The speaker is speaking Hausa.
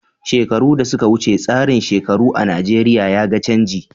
Shekaru da suka wuce, tsarin shekaru a Najeriya ya ga canji.